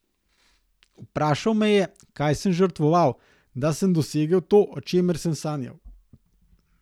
Vprašal me je, kaj sem žrtvoval, da sem dosegel to, o čemer sem sanjal.